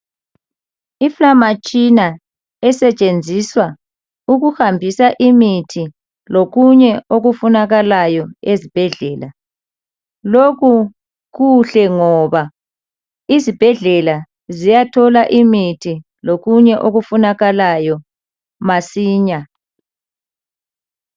Indizamtshina esetshenziswa ukuhambisa imithi lokunye okufunakalayo ezibhedlela lokhu kuhle ngoba izibhedlela ziyathola imithi lokunye okufunakalayo masinya.